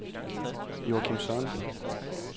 Joachim Sørensen